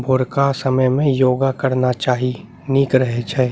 भोरका समय में योगा करना चाही निक रहे छै।